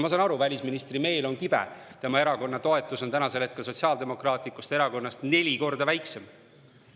Ma saan aru, välisministri meel on kibe, tema erakonna toetus on praegu Sotsiaaldemokraatlikust Erakonnast neli korda väiksem.